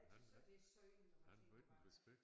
Jeg tys også det er synd når man tænker på hvad